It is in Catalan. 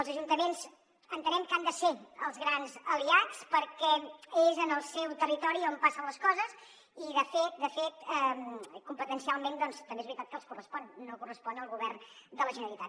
els ajuntaments entenem que n’han de ser els grans aliats perquè és en el seu territori on passen les coses i de fet competencialment doncs també és veritat que els correspon no correspon al govern de la generalitat